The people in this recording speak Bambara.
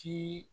Ti